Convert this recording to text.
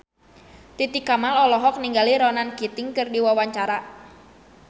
Titi Kamal olohok ningali Ronan Keating keur diwawancara